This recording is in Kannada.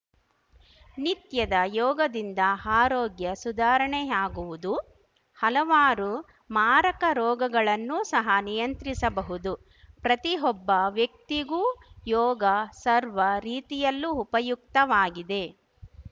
ನಿತ್ಯದ ಯೋಗದಿಂದ ಆರೋಗ್ಯ ಸುಧಾರಣೆಯಾಗುವುದು ಹಲವಾರು ಮಾರಕ ರೋಗಗಳನ್ನು ಸಹ ನಿಯಂತ್ರಿಸಬಹುದು ಪ್ರತಿಯೊಬ್ಬ ವ್ಯಕ್ತಿಗೂ ಯೋಗ ಸರ್ವ ರೀತಿಯಲ್ಲೂ ಉಪಯುಕ್ತವಾಗಿದೆ